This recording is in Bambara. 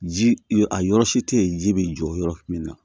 Ji a yɔrɔ si tɛ yen ji bɛ jɔ yɔrɔ min na